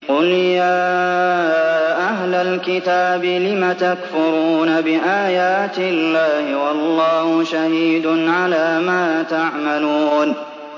قُلْ يَا أَهْلَ الْكِتَابِ لِمَ تَكْفُرُونَ بِآيَاتِ اللَّهِ وَاللَّهُ شَهِيدٌ عَلَىٰ مَا تَعْمَلُونَ